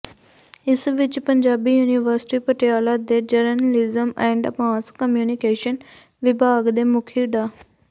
ਇਸ ਵਿੱਚ ਪੰਜਾਬੀ ਯੂਨੀਵਰਸਿਟੀ ਪਟਿਆਲਾ ਦੇ ਜਰਨਲਿਜ਼ਮ ਐਂਡ ਮਾਸ ਕਮਿਊਨਿਕੇਸ਼ਨ ਵਿਭਾਗ ਦੇ ਮੁਖੀ ਡਾ